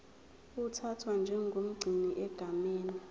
uthathwa njengomgcini egameni